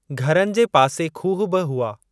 घरनि जे पासे खूह बि हुआ।